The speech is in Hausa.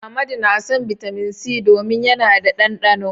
Amadu na son Bitamin C domin yana da ɗanɗano.